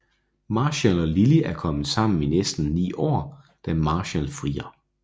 Marshall og Lilly er kommet sammen I næsten ni år da Marshall frier